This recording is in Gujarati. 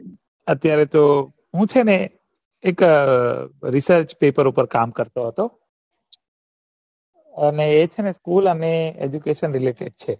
અત્યારે તો હું સેને એક research પેપર ઉપર કામ કરતો હતો અને એ સેને school અને aduction છે